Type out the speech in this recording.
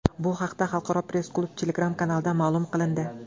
Bu haqda Xalqaro press-klub Telegram-kanalida ma’lum qilindi .